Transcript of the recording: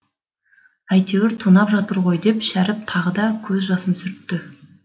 әйтеуір тонап жатыр ғой деп шәріп тағы да көз жасын сүртті